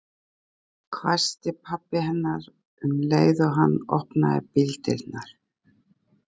hvæsti pabbi hennar um leið og hann opnaði bíldyrnar.